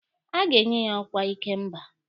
A ga-enye ya ọkwa ikemba?